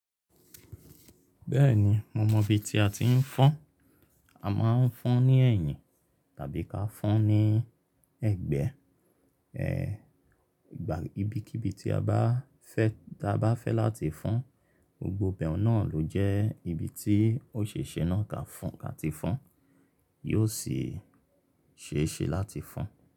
Bẹ́ẹ̀ni, mo mọ ibi tí a ti ń fọ́n. A máa ń fọ́n ní ẹ̀yìn tàbí ká fọ́n ní ẹ̀gbẹ́. E, ìgbà ibikíbi tí a bá fẹ́, tí a bá fẹ́ láti fọ́n, gbogbo ìbẹ̀rù náà ló jẹ́ ibi tí òṣèṣè náà ka fọ́n, ka ti fọ́n. Yóò sì ṣe é ṣe láti fọ́n.